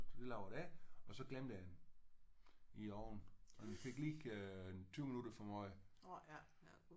Så lavede jeg det og så glemte jeg den i ovnen og den fik lige en 20 minutter for meget